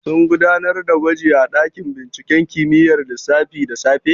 Sun gudanar da gwaji a ɗakin binciken kimiyyar lissafi da safe?